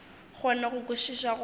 kgone go kwešiša go re